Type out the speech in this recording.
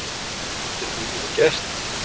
En þetta er búið og gert.